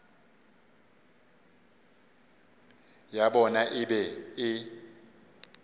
ya bona e be e